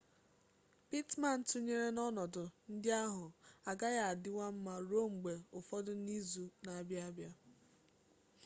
pittman tụnyere n'ọnọdụ ndị ahụ agaghị adịwa mma ruo mgbe ụfọdụ n'izu na-abịanụ